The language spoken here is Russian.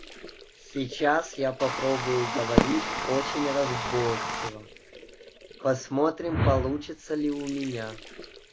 сейчас я попробую говорить очень разборчиво посмотрим получится ли у меня